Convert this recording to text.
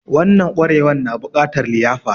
Wanan ƙwarewan na bukatar liyafa